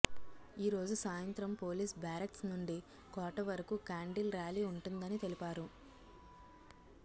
ఈ రోజు సాయంత్రం పోలీస్ బేరక్స్ నుండి కోట వరకు కేండిల్ ర్యాలీ ఉంటుందని తెలిపారు